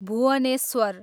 Bhubaneswar